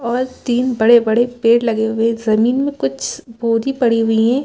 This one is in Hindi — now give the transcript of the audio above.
और तीन बड़े- बड़े पेड़ लगे हुए है जमीन में कुछ बोदी पड़ी हुई हैं ।